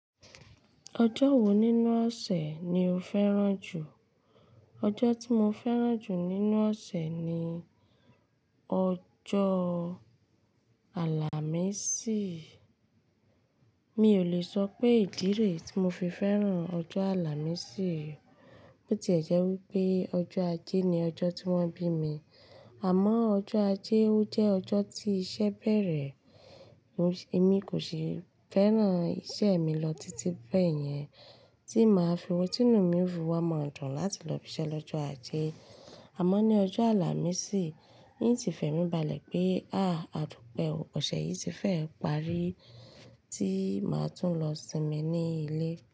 Ọjọ́ wo nínú ọ̀sẹ̀ ni o fẹ́ràn jù? Ọjọ́ tí mo fẹ́ràn jù nínú ọ̀sẹ̀ ni ọjọ́ Àlàmísì. Mi ò le sọ pé ìdí rẹ̀ tí mo fi fẹ́ràn ọjọ́ Àlàmísì. Bó ti ẹ̀ jẹ́ wí pé ọjọ́ ajé ni ọjọ́ tí wọ́n bí mi. Àmọ́ ọjọ́ ajé ó jẹ́ ọjọ́ tí iṣẹ́ bẹ̀rẹ̀. Èmi kò ṣi fẹ́ràn iṣẹ́ mi lọ títí bẹ́ẹ̀ yẹn, tí màá fi ọtí inú mi o fi wama dùn láti lọ ibi-iṣẹ́ lọ́jọ́ ajé. Àmọ́ ní ọjọ́ Àlàmísì, n ti fẹ̀mí balẹ̀ pé, à, àdùpẹ́ o, ọ̀sẹ̀ yìí ti fẹ́ ẹ parí, tí màá tún lọ sinmi ní ilé.